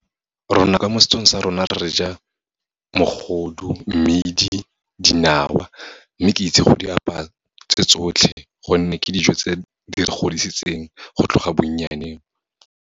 Rona ka mo setsong sa rona, re ja mogodu, mmidi, dinawa. Mme ke itse go di apaya tse tsotlhe, gonne ke dijo tse di re godisitseng go tloga bonnyaneng.